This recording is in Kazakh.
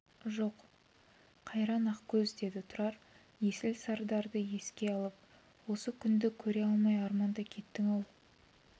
жоқ қайран ақкөз деді тұрар есіл сардарды еске алып осы күнді көре алмай арманда кеттің-ау